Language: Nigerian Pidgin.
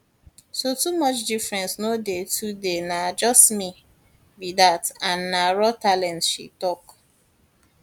so too much difference no too dey na just me be dat and na raw talent she tok